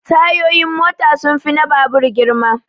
Tayun mota sun fi na babur girma